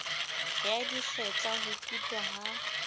ya dikgetla ho kutwa ha